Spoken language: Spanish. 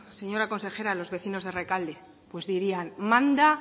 señora consejera los vecinos de rekalde pues dirían manda